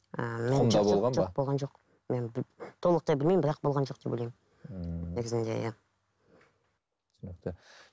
мен толықтай білмеймін бірақ болған жоқ деп ойлаймын ііі негізінде иә түсінікті